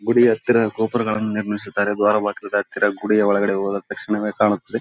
ಗುಡಿ ಹತ್ತಿರ ಗೋಪುರ ಗಳನ್ನು ನಿರ್ಮಿಸಿದ್ದಾರೆ ದ್ವಾರ ಬಾಗಿಲ ಹತ್ತಿರ ಗುಡಿಯ ಒಳಗಡೆ ಹೋದ ತಕ್ಷಣವೇ ಕಾಣುತ್ತೆದ್ದೆ.